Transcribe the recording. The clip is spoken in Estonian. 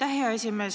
Aitäh, hea esimees!